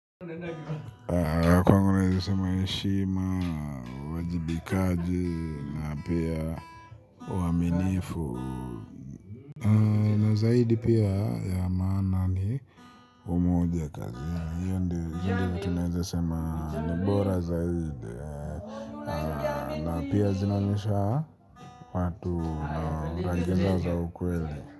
Kwangu naweza sema heshima, uwajibikaji na pia uaminifu. Na zaidi pia ya maana ni umoja kazi ya hiyo ndiyo vitu naweza sema ni bora zaidi. Na pia zinaonyesha watu na rangi zao za ukweli.